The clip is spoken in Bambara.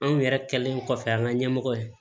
Anw yɛrɛ kɛlen kɔfɛ an ka ɲɛmɔgɔ ye